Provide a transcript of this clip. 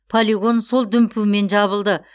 полигон сол дүмпумен жабылды